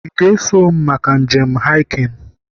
ị ga-eso m maka njem gini